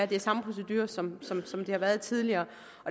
det er samme procedure som som det har været tidligere